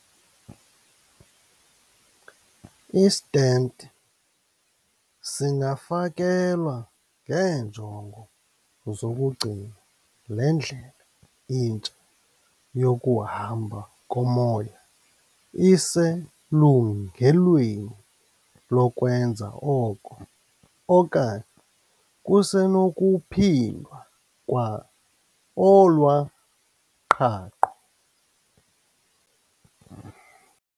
I-stent singafakelwa ngeenjongo zokugcina le ndlela intsha yokuhamba komoya iselungelweni lokwenza oko, okanye kusenokuphindwa kwa olwa qhaqho.